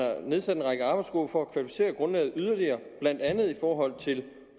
nedsat en række arbejdsgrupper for at kvalificere grundlaget yderligere blandt andet i forhold til